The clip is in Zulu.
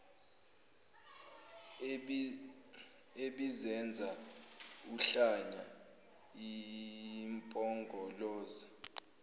ebizenza uhlanya impongoloza